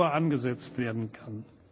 11.00 Uhr angesetzt werden kann.